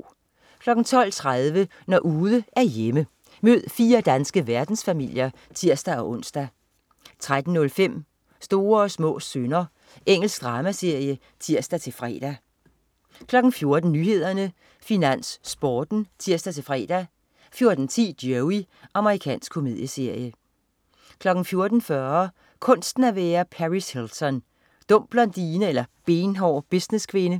12.30 Når ude er hjemme. Mød fire danske verdensfamilier (tirs-ons) 13.05 Små og store synder. Engelsk dramaserie (tirs-fre) 14.00 Nyhederne, Finans, Sporten (tirs-fre) 14.10 Joey. Amerikansk komedieserie 14.40 Kunsten at være Paris Hilton. Dum blondine eller benhård businesskvinde?